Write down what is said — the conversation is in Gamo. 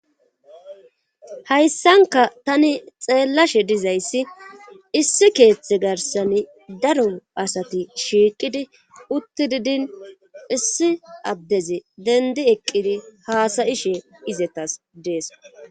Hayssanka tani xeellashe dizayssi issi keeththe garsani daro asati shiiqidi utti didin issi addezi dendi eqqidi haasayishe izetas dees.